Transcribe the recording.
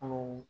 Anw